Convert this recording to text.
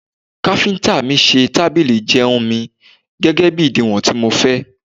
Káfíntà mi ṣe tábìlì ìjẹun mi, gẹ́gẹ́bí ìdiwọ̀n tí mo fẹ́.